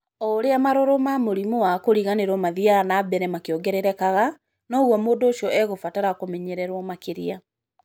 O ũrĩa marũrũ ma mũrimũ wa kĩriganĩro mathiaga na mbere makĩongererekaga, noguo mũndũ ũcio ekũbatara kũmenyererũo makĩria.